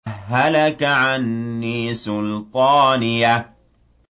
هَلَكَ عَنِّي سُلْطَانِيَهْ